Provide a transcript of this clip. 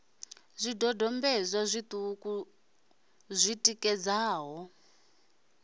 zwidodombedzwa zwiṱuku ṱuku zwi tikedzaho